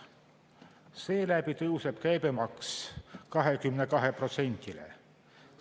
Seeläbi tõuseb käibemaks 22%-le.